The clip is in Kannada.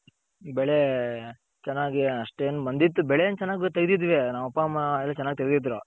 ಬೆಳೆ ಚೆನ್ನಾಗಿ ಅಷ್ಟೇನ್ ಬಂದಿತ್ತು ಬೆಳೆ ಏನ್ ಚೆನ್ನಾಗ್ ತೆಗ್ದಿದ್ವಿ ನಮ್ಮಪ್ಪಾಮ್ಮ ಎಲ್ಲ ಚೆನ್ನಾಗ್ ತೆಗ್ದಿದ್ರು.